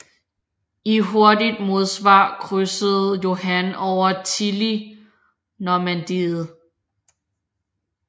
I hurtigt modsvar krydsede Johan over tili Normandiet